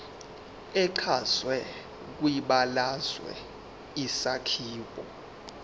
echazwe kwibalazwe isakhiwo